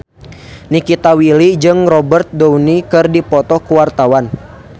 Nikita Willy jeung Robert Downey keur dipoto ku wartawan